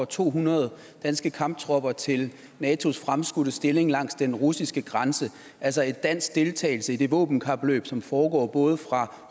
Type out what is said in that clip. to hundrede danske kamptropper til natos fremskudte stilling langs den russiske grænse altså en dansk deltagelse i det våbenkapløb som foregår både fra